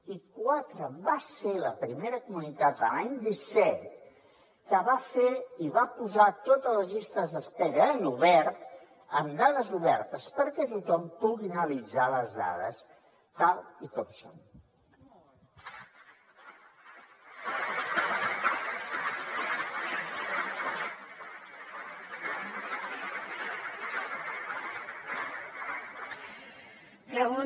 i quatre va ser la primera comunitat l’any disset que va fer i va posar totes les llistes d’espera en obert amb dades obertes perquè tothom pugui analitzar les dades tal com són